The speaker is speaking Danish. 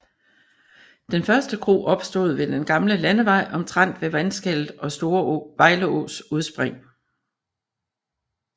Den første kro opstod ved den gamle landevej omtrent ved vandskellet og Store Vejleås udspring